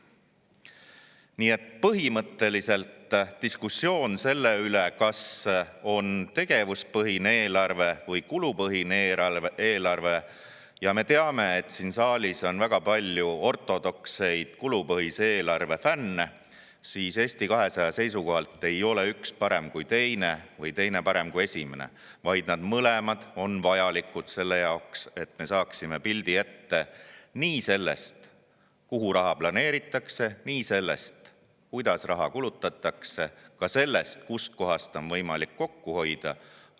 Nii et põhimõtteliselt käib diskussioon selle üle, kas tegevuspõhine eelarve või kulupõhine eelarve – ja me teame, et siin saalis on väga palju ortodoksseid kulupõhise eelarve fänne –, aga Eesti 200 seisukohalt ei ole üks parem kui teine või teine parem kui esimene, vaid mõlemad on vajalikud selleks, et me saaksime pildi ette nii sellest, kuhu raha planeeritakse, ja sellest, kuidas raha kulutatakse, kui ka sellest, kustkohast on võimalik kokku hoida.